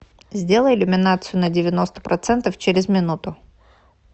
сделай иллюминацию на девяносто процентов через минуту